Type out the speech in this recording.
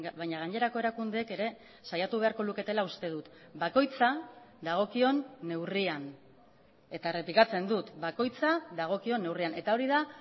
baina gainerako erakundeek ere saiatu beharko luketela uste dut bakoitza dagokion neurrian eta errepikatzen dut bakoitza dagokion neurrian eta hori da